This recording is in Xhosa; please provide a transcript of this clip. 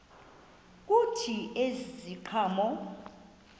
kuthi ezi ziqhamo